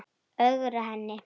Ögra henni.